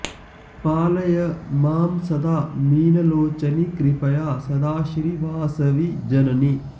पालय मां सदा मीनलोचनि कृपया सदा श्री वासवि जननि